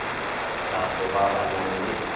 tlhago ba ba nang le